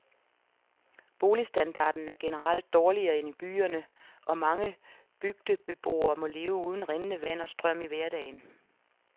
Boligstandarden er generelt dårligere end i byerne, og mange bygdebeboere må leve uden rindende vand og strøm i hverdagen.